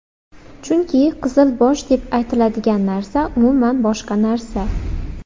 Chunki ‘qizil bosh’ deb aytiladigan narsa umuman boshqa narsa.